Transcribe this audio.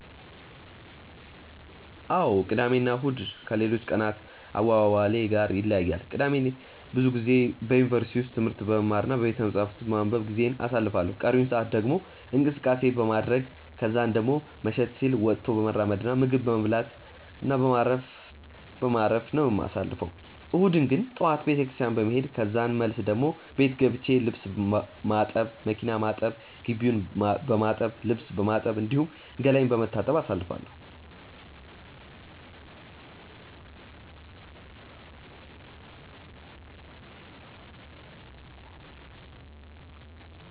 አዎ ቅዳሜ እና እሁድ ከሌሎች ቀናት አዋዋሌ ጋር ይለያያሉ። ቅዳሜን ብዙ ጊዜ በዩኒቨርሲቲ ውስጥ ትምህርት በመማር እና ቤተመጻሕፍት ውስጥ በማንበብ ጊዜዬን አሳልፋለሁ ቀሪውን ሰአት ደግሞ እንቅስቀሴ በማድረረግ ከዛን ደሞ መሸት ሲል ወጥቶ በመራመድ እና ምግብ ቤት በመብላት እና በማረፍ በማረፍ ነው የማሳልፈው። እሁድን ግን ጠዋት ቤተክርስትያን በመሄድ ከዛን መልስ ደሞ ቤት ገብቼ ልብስ ማጠብ፣ መኪና ማጠብ፣ ግቢውን በማጠብ፣ ልብስ በማጠብ፣ እንዲሁም ገላዬን በመታጠብ አሳልፋለሁ።